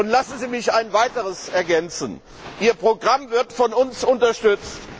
Lassen Sie mich ein Weiteres ergänzen Ihr Programm wird von uns unterstützt.